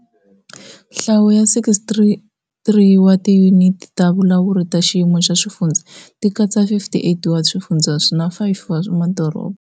Nhlayo ya 63 wa tiyuniti ta vulawuri ta xiyimo xa swifundzha ti katsa 58 wa swifundzha na 5 wa madoroba.